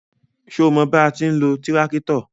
Ṣo mọ bí a ti ń lo tíráktọ̀?